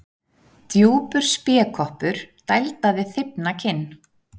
Djúpur spékoppur dældaði þybbna kinn.